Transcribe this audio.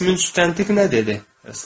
Bəs münsüz tənqiq nə dedi?